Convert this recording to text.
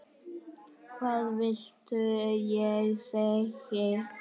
Hvað viltu ég segi?